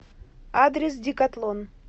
адрес декатлон